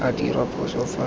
a dirwa phoso fa go